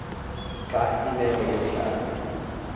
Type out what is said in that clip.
xa imeko yomhlaba